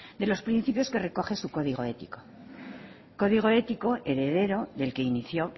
de los principios que recoge su código ético código ético heredero del que inició